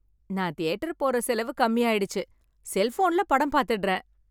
நான் தியேட்டர் போற செலவு கம்மி ஆயிடுச்சு. செல்போனில் படம் பார்த்துடறேன்.